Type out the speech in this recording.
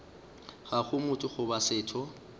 ga go motho goba setho